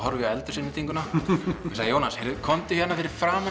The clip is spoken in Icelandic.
eldhúsinnréttinguna og segi Jónas komdu hérna fyrir framan